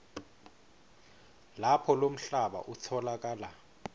lapho lomhlaba utfolakala